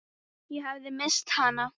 Ég hafði misst hana.